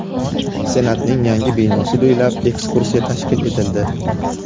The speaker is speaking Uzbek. Senatning yangi binosi bo‘ylab ekskursiya tashkil etildi.